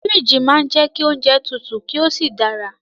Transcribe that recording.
Fíríjì máa ń jẹ́ kí oúnjẹ tutù kí ó sì dára